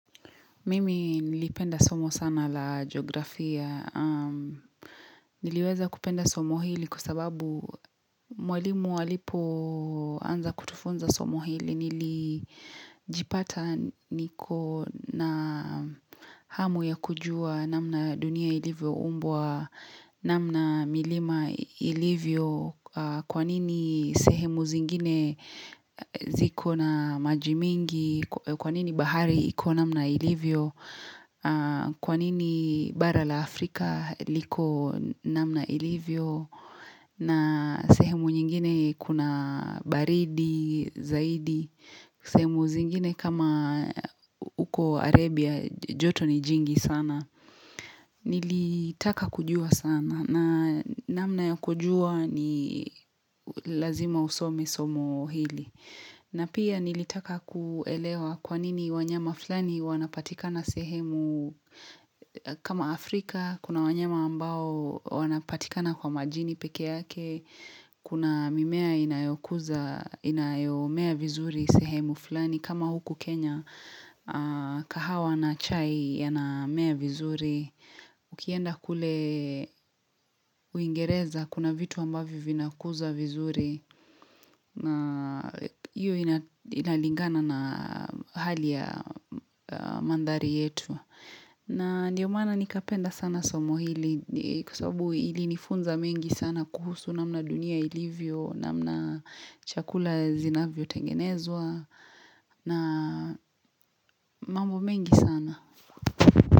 Mimi nilipenda somo sana la jiografia, niliweza kupenda somo hili kwa sababu mwalimu alipoanza kutufunza somo hili nilijipata niko na hamu ya kujua namna dunia ilivyo umbwa, namna milima ilivyo kwa nini sehemu zingine ziko na maji mingi, kwa nini bahari iko namna ilivyo. Kwa nini bara la Afrika liko namna ilivyo na sehemu nyingine kuna baridi, zaidi. Sehemu zingine kama uko Arabia joto ni jingi sana. Nilitaka kujua sana na namna ya kujua ni lazima usome somo hili. Na pia nilitaka kuelewa kwa nini wanyama fulani wanapatikana sehemu kama Afrika, kuna wanyama ambao wanapatikana kwa majini peke yake, kuna mimea inayokuza, inayomea vizuri sehemu fulani. Kama huku Kenya kahawa na chai yanamea vizuri Ukienda kule uingereza kuna vitu ambavyo vinakuza vizuri na hiyo inalingana na hali ya mandhari yetu na ndiyo maana nikapenda sana somo hili Kwa sababu ilinifunza mengi sana kuhusu namna dunia ilivyo namna chakula zinavyotengenezwa na mambo mengi sana.